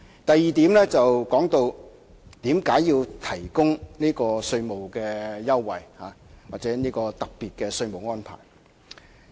第二，有議員問到為何要提供這種稅務優惠或特別稅務安排？